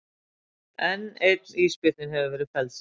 Enn einn ísbjörninn hefur verið felldur